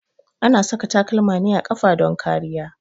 A na saka takalma ne a ƙafa don kariya.